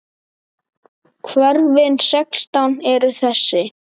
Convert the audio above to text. Hverfin sextán eru þessi